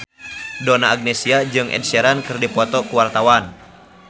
Donna Agnesia jeung Ed Sheeran keur dipoto ku wartawan